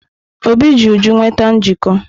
Obi ji Uju nweta njikọ.